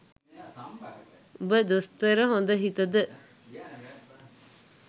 උඹ දොස්තර හොඳ හිතද